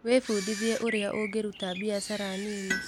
Wĩbundithie ũrĩa ũngĩruta biashara nini.